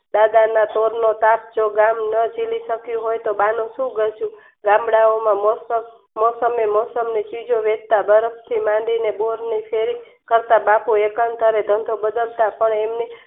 દાદાના સોર નો સાથ જો ગામ ન જીલી શક્યું હોય તો બા ની સુ ગલતી મોસમે મોસમ ની ચીજો વેંચતા બરફ થી માંડી ને બોર નું બાપુ રોકાળ કરે ધંધો બદલતા